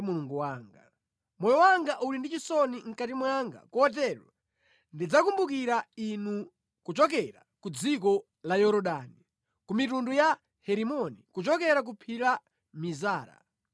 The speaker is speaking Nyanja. Mulungu wanga. Moyo wanga uli ndi chisoni mʼkati mwanga kotero ndidzakumbukira Inu kuchokera ku dziko la Yorodani, ku mitunda ya Herimoni kuchokera ku phiri la Mizara.